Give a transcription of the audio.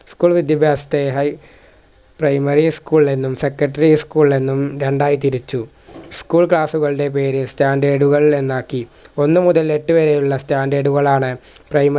school വിദ്യഭ്യാസത്തെ high primary school എന്നും secondary school എന്നും രണ്ടായി തിരിച്ചു school class കളുടെ പേര് standard കൾ എന്നാക്കി ഒന്നുമുതൽ എട്ടുവരെയുള്ള standard കളാണ് primary പ്രി